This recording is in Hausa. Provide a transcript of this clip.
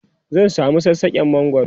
zan samu sassaken mangwaro